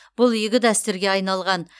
бұл игі дәстүрге айналған